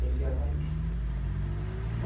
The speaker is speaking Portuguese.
Tem que avalista.